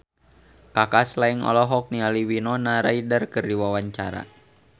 Kaka Slank olohok ningali Winona Ryder keur diwawancara